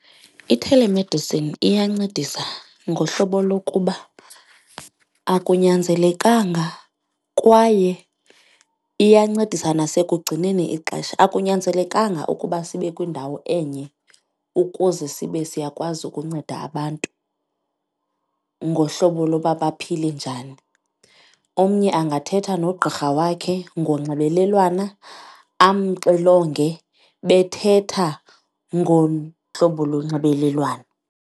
I-telemedicine iyancedisa ngohlobo lokuba akunyanzelekanga kwaye iyancedisa nasekugcineni ixesha, akunyanzelekanga ukuba sibe kwindawo enye ukuze sibe siyakwazi ukunceda abantu ngohlobo loba baphile njani. Omnye angathetha nogqirha wakhe ngonxibelelwana amxilonge bethetha ngohlobo lonxibelelwano.